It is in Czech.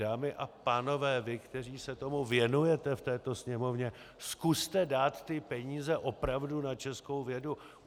Dámy a pánové, vy, kteří se tomu věnujete v této Sněmovně, zkuste dát ty peníze opravdu na českou vědu.